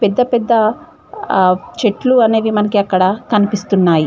పెద్ద పెద్ద ఆ చెట్లు అనేవి మనకి అక్కడ కనిపిస్తున్నాయి.